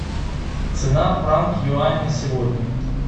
цена франк юань на сегодня